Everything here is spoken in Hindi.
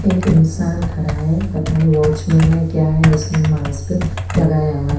एक इंशान खड़ा है पता नही वोचमेन है क्या है उसने मास्क लगाया है।